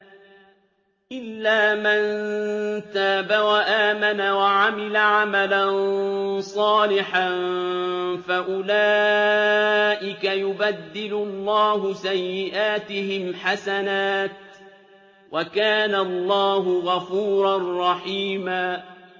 إِلَّا مَن تَابَ وَآمَنَ وَعَمِلَ عَمَلًا صَالِحًا فَأُولَٰئِكَ يُبَدِّلُ اللَّهُ سَيِّئَاتِهِمْ حَسَنَاتٍ ۗ وَكَانَ اللَّهُ غَفُورًا رَّحِيمًا